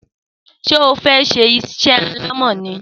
Sé o fe ṣe isé alámò ni?